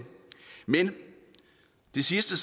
men den sidste